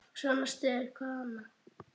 Svona styður hvað annað.